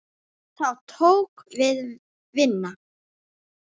Þá tók við vinna.